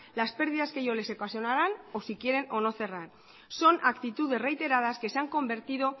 las pérdidas que ello les ocasionaran o si quieren o no cerrar son actitudes reiteradas que se han convertido